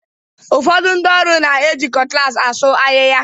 Ụfọdụ ndị ọrụ na-eji cutlass asuu ahịhịa.